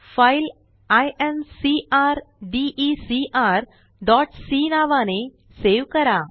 file incrdecrसी नावाने save करा